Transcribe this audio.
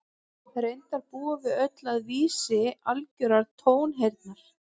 Reyndar búum við öll að vísi algjörrar tónheyrnar.